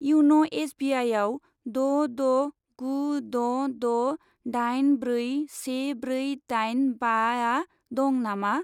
Ian' S B I आव द' द' गु द' द' दाइन ब्रै से ब्रै दाइन बाआ दं नामा?